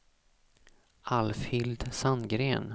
Alfhild Sandgren